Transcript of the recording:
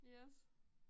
Yes